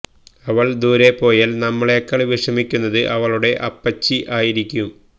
അവൾ ദൂരെ പോയാൽ നമ്മളെക്കാൾ വിഷമിക്കുന്നത് അവളുടെ അപ്പച്ചി ആയിരിക്കും